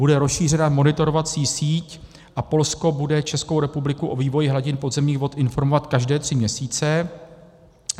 Bude rozšířena monitorovací síť a Polsko bude Českou republiku o vývoji hladin podzemních vod informovat každé tři měsíce.